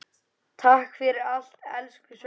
Takk fyrir allt, elsku Svenni.